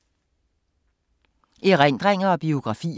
Erindringer og biografier